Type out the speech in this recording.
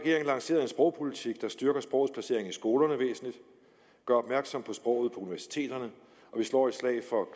lanceret en sprogpolitik der styrker sprogets placering i skolerne væsentligt gør opmærksom på sproget på universiteterne og vi slår et slag for